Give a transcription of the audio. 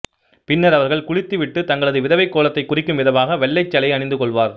பின்னர் அவர்கள் குளித்து விட்டுத் தங்களது விதவைக் கோலத்தைக் குறிக்கும் விதமாக வெள்ளைச் சேலையை அணிந்து கொள்வர்